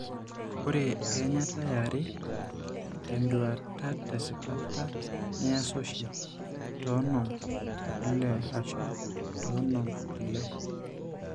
Ore eanyata eare tenduata tesipata neasa oshi toonom olee ashu toontomoni ile.